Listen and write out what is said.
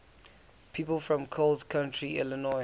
people from coles county illinois